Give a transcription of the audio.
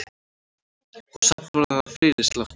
Og samt var það fyrirsláttur.